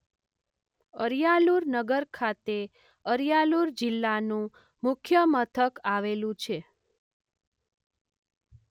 અરિયાલુર નગર ખાતે અરિયાલુર જિલ્લાનું મુખ્ય મથક આવેલું છે.